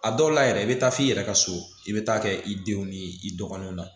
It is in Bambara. A dɔw la yɛrɛ i bɛ taa f'i yɛrɛ ka so i bɛ taa kɛ i denw ni i dɔgɔninw na